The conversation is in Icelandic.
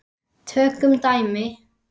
Tökum dæmi: